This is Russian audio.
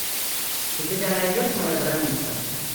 у тебя найдется моя граница